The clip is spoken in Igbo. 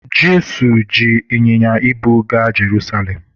Jesu ji ịnyịnya ibu gaa Jerusalem